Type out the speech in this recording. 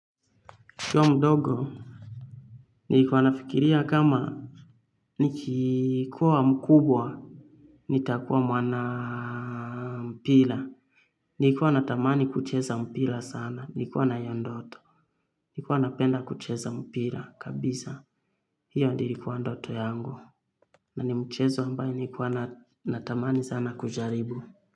Nikiwa mdogo, nilikuwa nafikiria kama nikikuwa mkubwa, nitakuwa mwana mpila. Nikuwa natamani kucheza mpila sana. Nikuwa naiyondoto. Nikuwa napenda kucheza mpila kabisa. Hiyo ndio ilikuwa ndoto yangu. Na ni mchezo ambaye nikuwa natamani sana kujaribu.